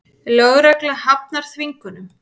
Lögregla hafnar þvingunum